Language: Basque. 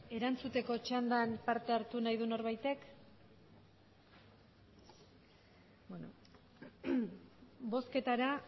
erantzuteko txandan parte hartu nahi du norbaitek ez beno bozketara